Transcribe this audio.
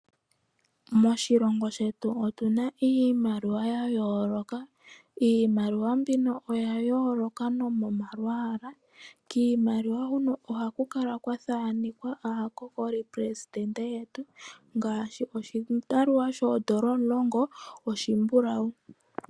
Moshilongo shetu otuna iimaliwa ya yooloka. Iimaliwa mbino oya yooloka nomomalwaala. Kiimaliwa huno ohaku kala kwa thaanenkwa aakokolipelesitende yetu ngaashi oshimaliwa shoodola omulongo oshimbulawu.